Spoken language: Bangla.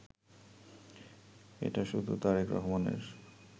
এটা শুধু তারেক রহমানের